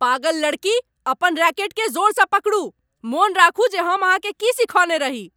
पागल लड़की। अपन रैकेटकेँ जोरसँ पकड़ू। मोन राखू जे हम अहाँ केँ की सिखौने रही।